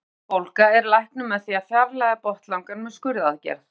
Botnlangabólga er læknuð með því að fjarlægja botnlangann með skurðaðgerð.